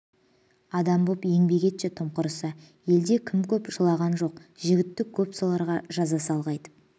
адам боп еңбек етші тым құрыса елде кім көп жылаған жоқ-жітік көп соларға жаза сал қайтіп